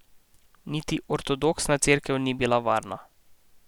Niti ortodoksna cerkev ni bila varna.